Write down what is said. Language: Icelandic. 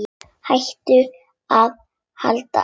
Hætta eða halda áfram?